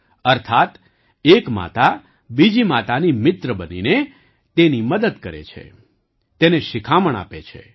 અર્થાત્ એક માતા બીજી માતાની મિત્ર બનીને તેની મદદ કરે છે તેને શિખામણ આપે છે